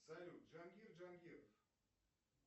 салют джангир джангиров